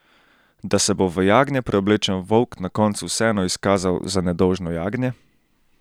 Da se bo v jagnje preoblečen volk na koncu vseeno izkazal za nedolžno jagnje?